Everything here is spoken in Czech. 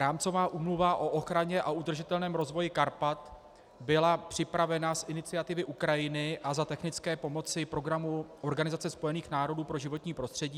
Rámcová úmluva o ochraně a udržitelném rozvoji Karpat byla připravena z iniciativy Ukrajiny a za technické pomoci programu Organizace spojených národů pro životní prostředí.